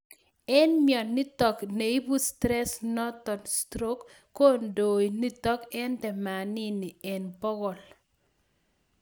En myonitok neibu stress noton stroke kondoik nitok ak themanini en bogol